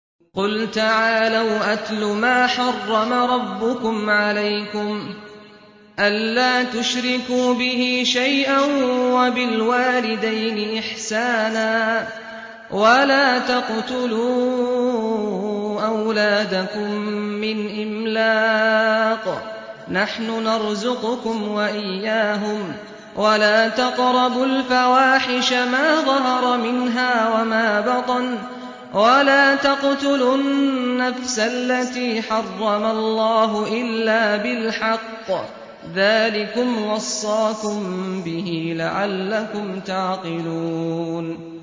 ۞ قُلْ تَعَالَوْا أَتْلُ مَا حَرَّمَ رَبُّكُمْ عَلَيْكُمْ ۖ أَلَّا تُشْرِكُوا بِهِ شَيْئًا ۖ وَبِالْوَالِدَيْنِ إِحْسَانًا ۖ وَلَا تَقْتُلُوا أَوْلَادَكُم مِّنْ إِمْلَاقٍ ۖ نَّحْنُ نَرْزُقُكُمْ وَإِيَّاهُمْ ۖ وَلَا تَقْرَبُوا الْفَوَاحِشَ مَا ظَهَرَ مِنْهَا وَمَا بَطَنَ ۖ وَلَا تَقْتُلُوا النَّفْسَ الَّتِي حَرَّمَ اللَّهُ إِلَّا بِالْحَقِّ ۚ ذَٰلِكُمْ وَصَّاكُم بِهِ لَعَلَّكُمْ تَعْقِلُونَ